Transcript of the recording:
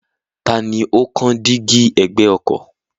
Tani ó kán dígí ẹ̀gbẹ́ ọkọ̀?